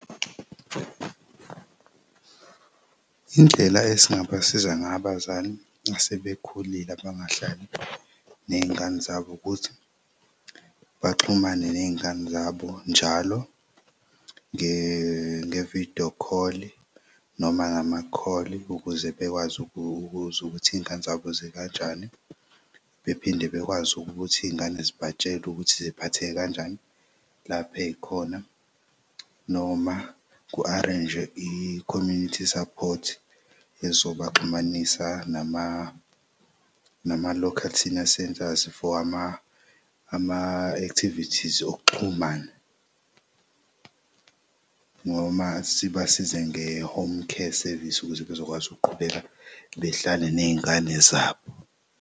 Indlela esingabasiza ng'abazali asebekhulile abangahlali ney'ngane zabo ukuthi baxhumane ney'ngane zabo njalo nge-video call noma ngama-call ukuze bekwazi ukuzwa ukuthi iy'ngane zabo zikanjani. Bephinde bekwazi ukuthi iy'ngane zibatshele ukuthi ziphatheke kanjani lapha ey'khona noma ku-arrange-jwe i-community support ezobaxhumanisa nama local senior centres for ama-activities okuxhumana noma sibasize nge-home care service ukuze bezokwazi ukuqhubeka behlale ney'ngane zabo.